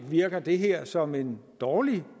virker det her som en dårlig